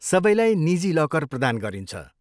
सबैलाई निजी लकर प्रदान गरिन्छ।